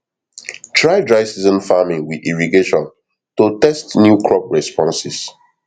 try dryseason farming with irrigationto tst new crop responses